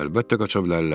Əlbəttə qaça bilərlər.